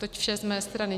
Toť vše z mé strany.